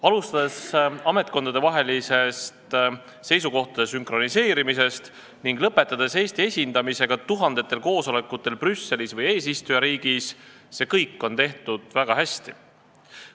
Alustades ametkondadevahelisest seisukohtade sünkroniseerimisest ning lõpetades Eesti esindamisega tuhandetel koosolekutel Brüsselis või eesistujariigis – see kõik on tehtud väga hästi.